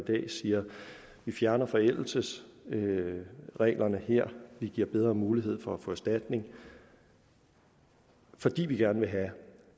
vi fjerner forældelsesreglerne her vi giver bedre mulighed for at få erstatning fordi vi gerne have